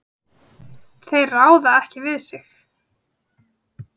Þeir ráða ekki við sig.